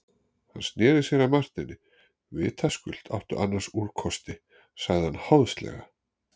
Hann sneri sér að Marteini:-Vitaskuld áttu annars úrkosti, sagði hann háðslega.